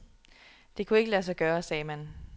Det kunne ikke lade sig gøre, sagde man.